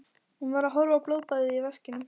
Hún var að horfa á blóðbaðið í vaskinum.